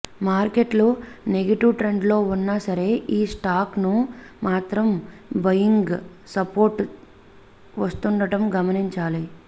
మార్కెట్లు నెగిటివ్ ట్రెండ్లో ఉన్నా సరే ఈ స్టాక్కు మాత్రం బయింగ్ సపోర్ట్ వస్తుండడం గమనించాలి